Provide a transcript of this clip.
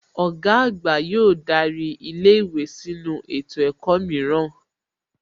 Ọ̀gá àgbà yóò darí ilé ìwé sínu ètò ẹ̀kọ́ mìíràn